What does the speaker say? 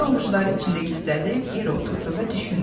Üzünü ovucları içində gizlədib yerə oturdu və düşündü.